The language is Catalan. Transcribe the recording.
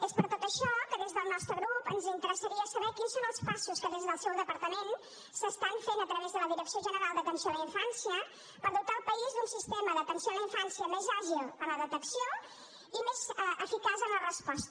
és per tot això que des del nostre grup ens interessaria saber quins són els passos que des del seu departament s’estan fent a través de la direcció general d’atenció a la infància per dotar el país d’un sistema d’atenció a la infància més àgil en la detecció i més eficaç en la resposta